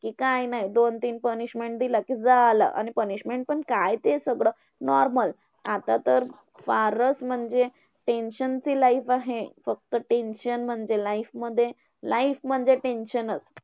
काय नाही दोन तीन punishment दिल्या कि झालं आणि punishment पण काय ते सगळं normal. आता तर फारच म्हणजे tension ची life आहे. फक्त tension म्हणजे life मध्ये life म्हणजे tension चं.